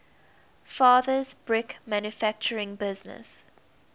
father's brick manufacturing business